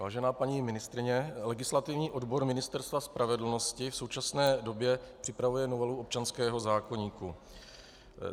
Vážená paní ministryně, legislativní odbor Ministerstva spravedlnosti v současné době připravuje novelu občanského zákoníku.